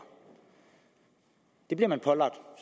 det bliver man pålagt